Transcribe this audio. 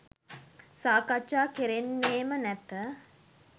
සාකච්ඡා කෙරෙන්නේම නැත